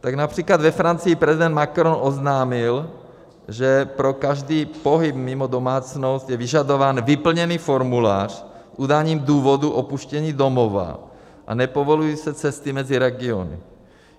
Tak například ve Francii prezident Macron oznámil, že pro každý pohyb mimo domácnost je vyžadován vyplněný formulář s udáním důvodu opuštění domova, a nepovolují se cesty mezi regiony.